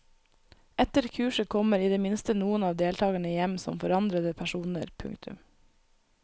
Etter kurset kommer i det minste noen av deltagerne hjem som forandrede personer. punktum